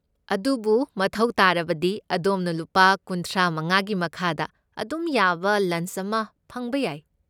ꯑꯗꯨꯕꯨ ꯃꯊꯧ ꯇꯥꯔꯕꯗꯤ ꯑꯗꯣꯝꯅ ꯂꯨꯄꯥ ꯀꯨꯟꯊ꯭ꯔꯥꯃꯉꯥꯒꯤ ꯃꯈꯥꯗ ꯑꯗꯨꯝ ꯌꯥꯕ ꯂꯟꯆ ꯑꯃ ꯐꯪꯕ ꯌꯥꯏ꯫